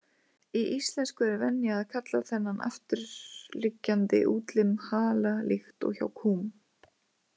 Í íslensku er venja að kalla þennan afturliggjandi útlim hala líkt og hjá kúm.